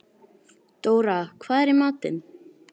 Dóra, hvað er í matinn?